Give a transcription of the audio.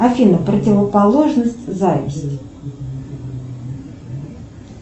афина противоположность зависти